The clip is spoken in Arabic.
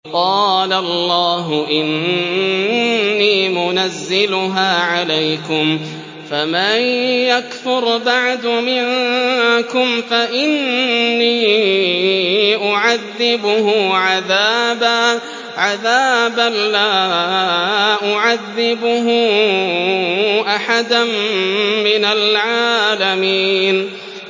قَالَ اللَّهُ إِنِّي مُنَزِّلُهَا عَلَيْكُمْ ۖ فَمَن يَكْفُرْ بَعْدُ مِنكُمْ فَإِنِّي أُعَذِّبُهُ عَذَابًا لَّا أُعَذِّبُهُ أَحَدًا مِّنَ الْعَالَمِينَ